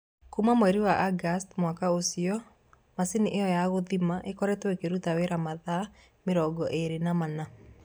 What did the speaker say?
Kuuma mweri-inĩ wa Agosti mwaka ũcio, macini ĩyo ya gũthima ĩkoretwo ĩkĩruta wĩra mathaa 24.